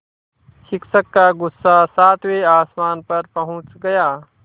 शिक्षक का गुस्सा सातवें आसमान पर पहुँच गया